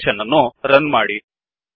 application ಅನ್ನು run ಮಾಡಿ